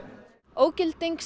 ógilding